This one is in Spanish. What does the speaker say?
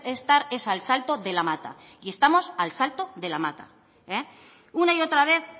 estar es al salto de la mata y estamos al salto de la mata una y otra vez